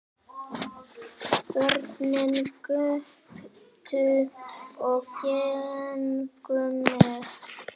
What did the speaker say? Börn göptu og gengu með.